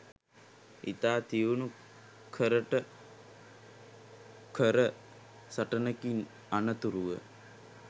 ඉතා තියුණු කරට කර සටනකින් අනතුරුව